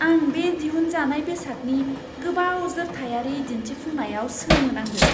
आं बे दिहुनजानाय बेसादनि गोबाव जोरथायारि दिन्थिफुंनायाव सोमोनांदों!